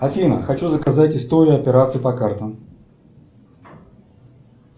афина хочу заказать историю операций по картам